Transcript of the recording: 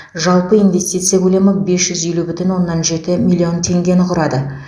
жалпы инвестиция көлемі бес жүз елу бүтін оннан жеті миллион теңгені құрады